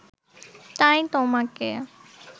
তাই তোমাকে